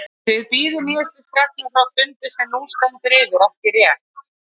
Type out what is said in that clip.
Þið bíðið nýjustu fregna frá fundi sem nú stendur yfir, ekki rétt?